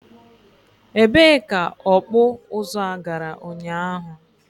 e bee ka ọkpụ ụzụ a gara ụnyaahụ?